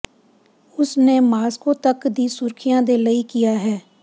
ਉਸ ਨੇ ਮਾਸ੍ਕੋ ਤੱਕ ਦੀ ਸੁਰੱਖਿਆ ਦੇ ਲਈ ਕਿਹਾ ਹੈ